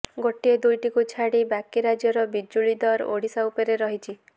ଗୋଟିଏ ଦୁଇଟିକୁ ଛାଡ଼ି ବାକି ରାଜ୍ୟର ବିଜୁଳି ଦର ଓଡ଼ିଶା ଉପରେ ରହିଛି